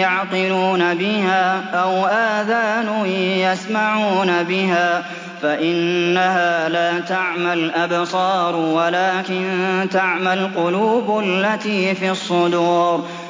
يَعْقِلُونَ بِهَا أَوْ آذَانٌ يَسْمَعُونَ بِهَا ۖ فَإِنَّهَا لَا تَعْمَى الْأَبْصَارُ وَلَٰكِن تَعْمَى الْقُلُوبُ الَّتِي فِي الصُّدُورِ